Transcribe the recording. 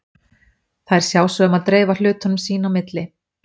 Þær sjá svo um að dreifa hlutunum sín á milli.